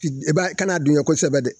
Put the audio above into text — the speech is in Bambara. Kana dunya kosɛbɛ dɛ